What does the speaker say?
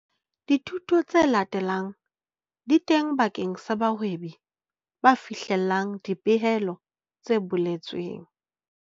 Dithuso tse latelang di teng bakeng sa bahwebi ba fihlellang dipehelo tse boletsweng.